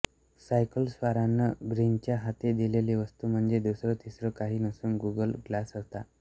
सायकलस्वारानं ब्रिनच्या हाती दिलेली वस्तू म्हणजे दुसरं तिसरं काही नसून गुगल ग्लास होता